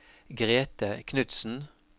Grethe Knudsen